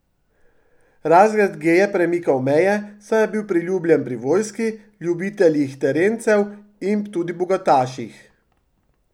Razred G je premikal meje, saj je bil priljubljen pri vojski, ljubiteljih terencev in tudi bogataših.